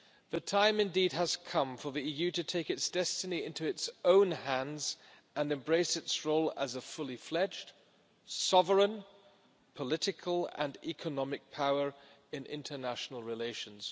The time indeed has come for the EU to take its destiny into its own hands and embrace its role as a fully fledged sovereign, political and economic power in international relations.